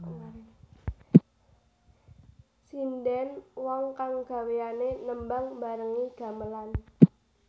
Sindhèn wong kang gawéané nembang mbarengi gamelan